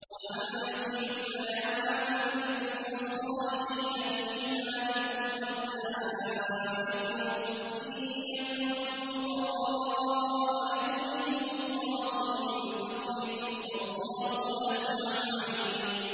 وَأَنكِحُوا الْأَيَامَىٰ مِنكُمْ وَالصَّالِحِينَ مِنْ عِبَادِكُمْ وَإِمَائِكُمْ ۚ إِن يَكُونُوا فُقَرَاءَ يُغْنِهِمُ اللَّهُ مِن فَضْلِهِ ۗ وَاللَّهُ وَاسِعٌ عَلِيمٌ